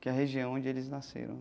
Que é a região onde eles nasceram.